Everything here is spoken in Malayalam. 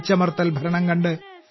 അടിച്ചമർത്തൽ ഭരണം കണ്ട്